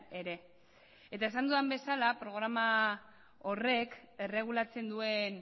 ere eta esan dudan bezala programa horrek erregulatzen duen